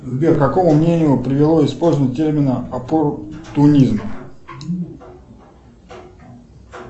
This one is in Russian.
сбер к какому мнению привело использование термина оппортунизм